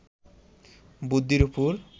বৃদ্ধির ওপর